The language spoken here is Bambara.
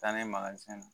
Taa ni magazɛn na